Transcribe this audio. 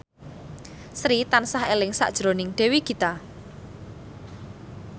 Sri tansah eling sakjroning Dewi Gita